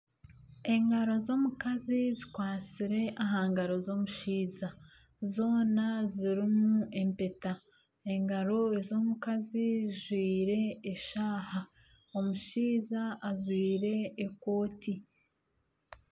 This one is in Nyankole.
Engaro z'omukazi zikwatsire aha ngaro z'omushaija zoona zirimu empeta . Engaro ez'omukazi zijwire eshaaha. Omushaija ajwire ekooti.